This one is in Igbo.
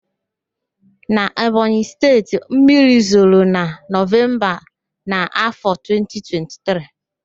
Na Ebonyị Steeti, mmiri zoro na Nọvemba na afọ 2023